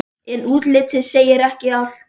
En útlitið segir ekki allt.